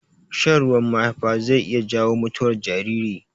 Shan ruwan mahaifa zai iya jawo mutuwar jariri.